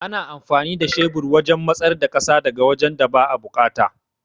Ana amfani da shebur wajan matsar da ƙasa daga wajan da ba'a buƙata